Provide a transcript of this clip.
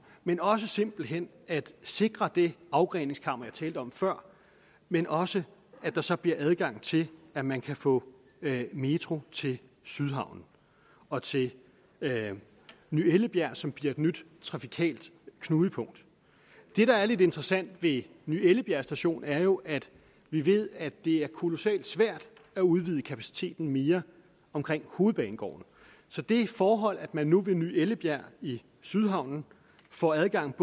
men også simpelt hen at sikre det afgreningskammer jeg talte om før men også at der så bliver adgang til at man kan få metro til sydhavnen og til ny ellebjerg som bliver et nyt trafikalt knudepunkt det der er lidt interessant ved ny ellebjerg station er jo at vi ved at det er kolossalt svært at udvide kapaciteten mere omkring hovedbanegården så det forhold at man nu ved ny ellebjerg i sydhavnen får adgang